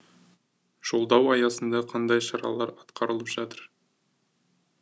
жолдау аясында қандай шаралар атқарылып жатыр